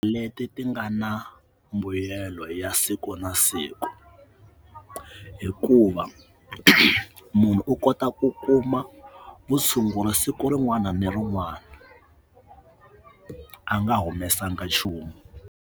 Leti ti nga na mbuyelo ya siku na siku hikuva munhu u kota ku kuma vutshunguri siku rin'wana ni rin'wana anga humesanga nchumu.